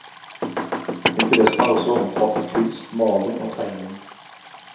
Interessene har også omfattet kunst, maling og tegning.